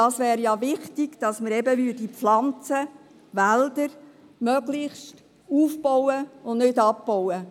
Dabei wäre es wichtig, möglichst Pflanzen und insbesondere Wälder auf- und nicht abzubauen.